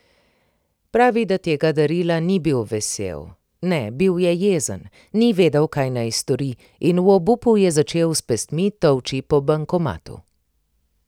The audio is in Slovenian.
Pravi, da tega darila ni bil vesel, ne, bil je jezen, ni vedel, kaj naj stori in v obupu je začel s pestmi tolči po bankomatu.